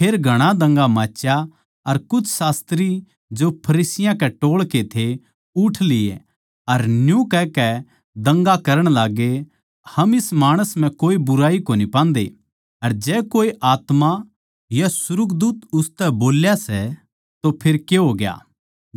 फेर घणा दंगा माच्या अर कुछ शास्त्री जो फरिसियाँ के टोळ के थे उठ लिए अर न्यू कहकै दंगा करण लाग्गे हम इस माणस म्ह कोए बुराई कोनी पांदे अर जै कोए आत्मा या सुर्गदूत उसतै बोल्या सै तो फेर के होग्या